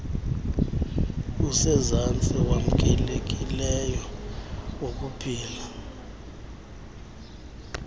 usezantsi wamkelekileyo wokuphila